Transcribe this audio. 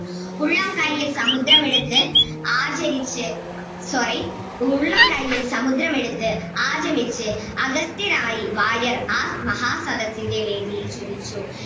ഉള്ളം കയ്യിൽ സമുദ്രം എടുത്ത് ആചരിച്ച് sorry ഉള്ളം കയ്യിൽ സമുദ്രം എടുത്ത് ആഗമിച്ച്‌ അഗസ്ത്യനായി വാര്യർ ആ മഹാസദസ്സിന്റെ വേദിയിൽ ജ്വലിച്ചു